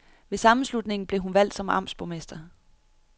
Ved sammenslutningen blev hun valgt som amtsborgmester.